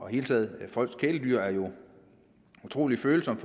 hele taget folks kæledyr er jo et utrolig følsomt